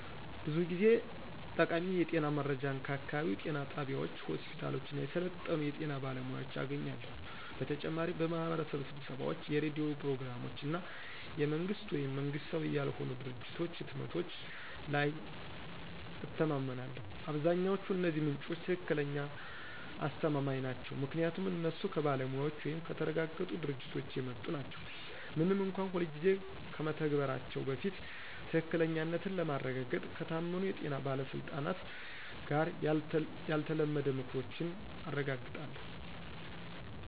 ብዙ ጊዜ ጠቃሚ የጤና መረጃን ከአካባቢው ጤና ጣቢያዎች፣ ሆስፒታሎች እና የሰለጠኑ የጤና ባለሙያዎች አገኛለሁ። በተጨማሪም በማህበረሰብ ስብሰባዎች፣ የሬዲዮ ፕሮግራሞች እና የመንግስት ወይም መንግሥታዊ ያልሆኑ ድርጅቶች ህትመቶች ላይ እተማመናለሁ። አብዛኛዎቹ እነዚህ ምንጮች ትክክለኛ አስተማማኝ ናቸው ምክንያቱም እነሱ ከባለሙያዎች ወይም ከተረጋገጡ ድርጅቶች የመጡ ናቸው፣ ምንም እንኳን ሁልጊዜ ከመተግበራቸው በፊት ትክክለኛነትን ለማረጋገጥ ከታመኑ የጤና ባለስልጣናት ጋር ያልተለመደ ምክሮችን አረጋግጣለሁ።